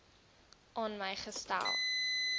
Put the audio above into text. aan my gestel